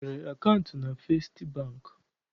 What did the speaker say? I nwere akaụntụ na Festị Bankị?